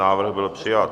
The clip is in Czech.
Návrh byl přijat.